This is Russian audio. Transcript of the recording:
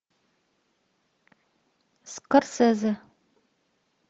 скорсезе